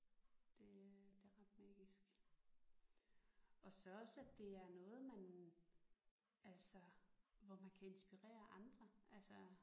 Det øh det er ret magisk. Og så også at det er noget man altså hvor man kan inspirere andre altså